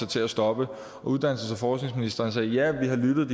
til at stoppe og uddannelses og forskningsministeren sagde ja vi har lyttet